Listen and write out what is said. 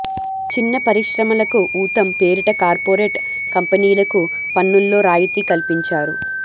చిన్న పరిశ్రమలకు ఊతం పేరిట కార్పొరేట్ కంపెనీలకు పన్నుల్లో రాయితీ కల్పించారు